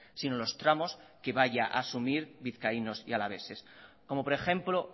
sino los tramos que vayan a asumir vizcaínos y alaveses como por ejemplo